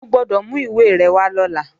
O gbọ́dọ̀ mú ìwé rẹ̀ wá lọ́la!